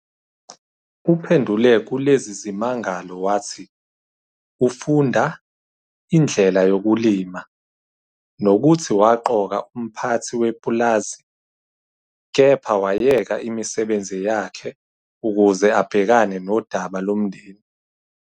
Uphendule kulezi zimangalo wathi "ufunda" indlela yokulima, nokuthi waqoka umphathi wepulazi, kepha wayeka imisebenzi yakhe ukuze abhekane nodaba lomndeni.